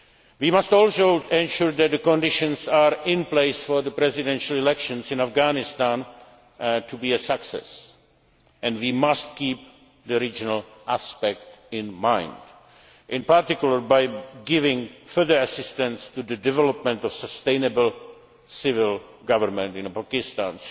Dick Holbrooke. We must also ensure that the conditions are in place for the Presidential elections in Afghanistan to be a success and we must keep the regional aspect in mind, in particular by giving further assistance to the development of sustainable civil government